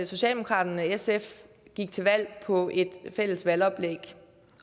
socialdemokraterne og sf gik til valg på et fælles valgoplæg